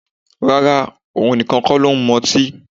Rárá, òun nìkan ksn ló ń mu ọtí